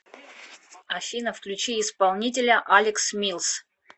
афина включи исполнителя алекс милс